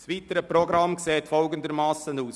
Das weitere Programm sieht folgendermassen aus: